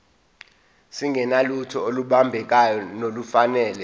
singenalutho olubambekayo nolufanele